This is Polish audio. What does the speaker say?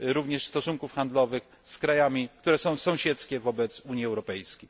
również stosunków handlowych z krajami, które są sąsiedzkie wobec Unii Europejskiej.